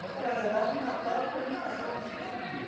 Para falar a verdade, o Natal, para mim, passava despercebido.